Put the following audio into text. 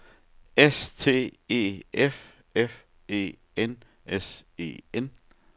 S T E F F E N S E N